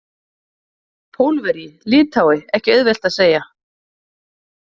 Pólverji, Lithái, ekki auðvelt að segja.